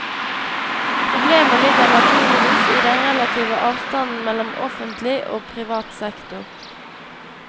Problemet ligger naturligvis i den relative avstanden mellom offentlig og privat sektor.